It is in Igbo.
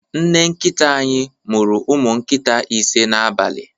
Nne nkita anyị mụru umụ nkịta ise n'abalị.